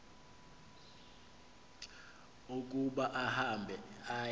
ukuba ahambe aye